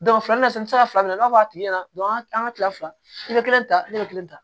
filani na sisan n bɛ se ka fila fila minɛ n'a fɔ a tigi ɲɛna dɔn an ka kile fila i bɛ kelen ta ne bɛ kelen ta